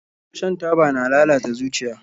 Shan taba na lalata zuciya